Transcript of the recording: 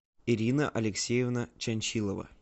ирина алексеевна чанчилова